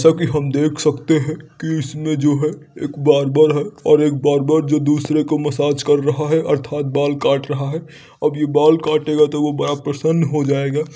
जैसा कि हम देख सकते हैं कि इसमें जो है एक बार्बर है और एक बार्बर जो दूसरे को मसाज कर रहा है अर्थात बाल काट रहा है। अब ये बाल काटेगा तो वह बड़ा प्रसन्न हो जाएगा।